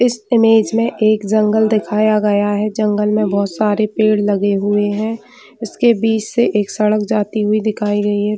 इस इमेज में एक जंगल दिखाया गया है जंगल में बहोत सारे पेड़ लगे हुए है उसके बीच से एक सड़क जाते हुए दिखाई गयी है।